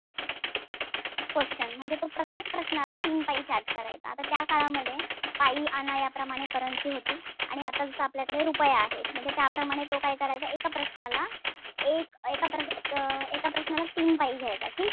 Question म्हणजे तो प्रत्येक प्रश्नाला तीन पै charge करायचा. आता त्या काळामध्ये पै, आणा याप्रमाणे currency होती. आणि आता जस आपल्याकडे रुपया आहे. म्हणजे त्याप्रमाणे तो काय करायचा एका प्रश्नाला एक एका प्रश्नांच एका प्रश्नाला तीन पै घ्यायचा.